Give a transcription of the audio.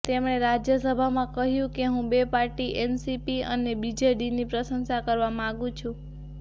તેમણે રાજ્યસભામાં કહ્યું કે હું બે પાર્ટી એનસીપી અને બીજેડીની પ્રશંસા કરવા માંગુ છું